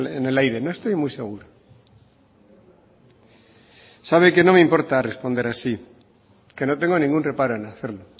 en el aire no estoy muy seguro sabe que no me importa responder así que no tengo ningún reparo en hacerlo